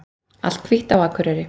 Allt hvítt á Akureyri